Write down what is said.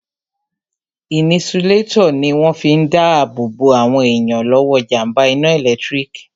Inisulétọ̀ ní wọ́n fi n dá ààbò bo àwọn èèyàn lọ́wọ́ jàmbá iná ẹ̀lẹ́tírík